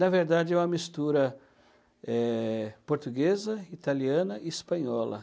Na verdade, é uma mistura eh, portuguesa, italiana e espanhola.